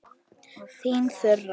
Þín Þura.